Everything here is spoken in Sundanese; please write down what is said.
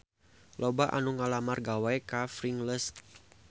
Loba anu ngalamar gawe ka Pringles